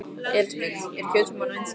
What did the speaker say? Elísabet: Er kjötsúpan vinsæl?